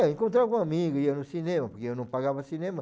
É, eu encontrava com amigos, ia no cinema, porque eu não pagava cinema.